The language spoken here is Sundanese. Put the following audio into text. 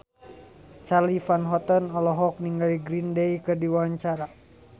Charly Van Houten olohok ningali Green Day keur diwawancara